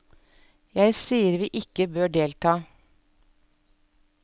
Jeg sier vi ikke bør delta.